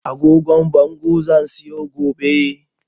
Agogon bango zan siyo gobe